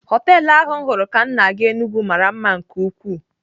Họtelụ ahu m huru ka m na-aga Enugu mara mma nke ukwuu.